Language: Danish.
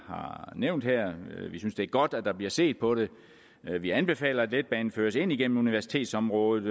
nævnt her vi synes det er godt at der bliver set på det vi anbefaler at letbanen føres ind igennem universitetsområdet